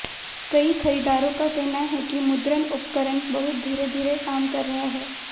कई खरीदारों का कहना है कि मुद्रण उपकरण बहुत धीरे धीरे काम कर रहा है